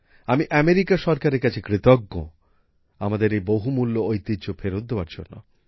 আমি মার্কিন সরকারের কাছে কৃতজ্ঞ আমাদের এই বহুমূল্য ঐতিহ্য ফেরত দেওয়ার জন্য